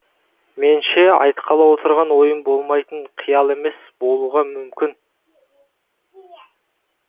менше айтқалы отырған ойым болмайтын қиял емес болуға мүмкін